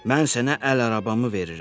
Mən sənə əl arabamı verirəm.